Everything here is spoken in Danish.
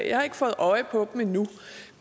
jeg har ikke fået øje på dem endnu